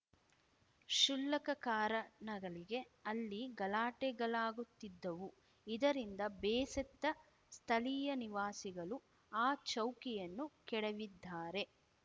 ಕ್ಷುಲ್ಲಕ ಕಾರಣಗಳಿಗೆ ಅಲ್ಲಿ ಗಲಾಟೆಗಳಾಗುತ್ತಿದ್ದವು ಇದರಿಂದ ಬೇಸತ್ತ ಸ್ಥಳೀಯ ನಿವಾಸಿಗಳು ಆ ಚೌಕಿಯನ್ನು ಕೆಡವಿದ್ದಾರೆ